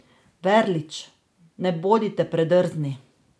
Verlič: "Ne bodite predrzni.